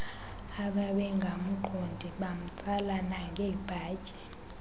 ababengamqondi bamtsala nangebhatyi